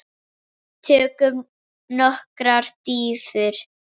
Tökum nokkrar dýfur!